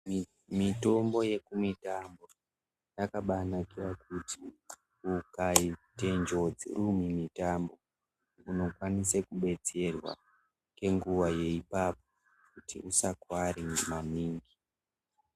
Mitombo yekumitambo yakabanakira kuti, ukaite njodzi uri mumitambo unokwanise kubetserwa ngenguva yeipapo, kuti usakuware maningi.